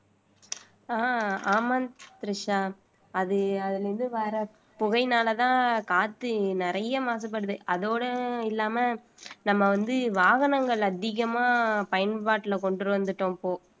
ஆஹ் ஆமா திரிஷா அது அதுல இருந்து வர புகையினாலதான் காத்து நிறைய மாசுபடுது அதோட இல்லாம நம்ம வந்து வாகனங்கள் அதிகமா பயன்பாட்டுல கொண்டு வந்துட்டோம் இப்போ